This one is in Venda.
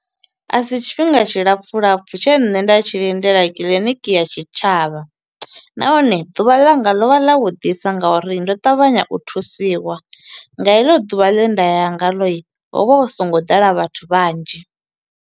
A si tshifhinga tshi lapfu lapfu tshe nṋe nda tshi lindela kiḽiniki ya tshitshavha. Nahone ḓuvha ḽanga lovha ḽa vhu ḓisa nga uri ndo ṱavhanya u thusiwa, nga heḽo ḓuvha ḽe nda ya nga ḽo ho vha hu songo ḓala vhathu vhanzhi.